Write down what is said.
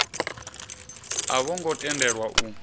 a vho ngo tendelwa u